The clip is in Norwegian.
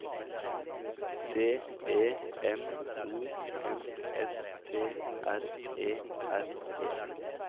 D E M O N S T R E R E